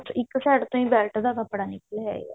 ਇੱਕ side ਤੋਂ ਹੀ belt ਦਾ ਕੱਪੜਾ ਨਿਕਲ ਆਏਗਾ